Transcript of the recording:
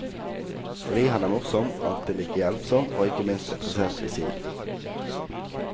Fordi han er morsom, alltid like hjelpsom og ikke minst interessert i siden.